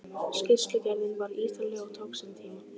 Skýrslugerðin var ítarleg og tók sinn tíma.